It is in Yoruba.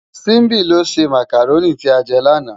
Simbi ló sé mákáróni ti á jè làná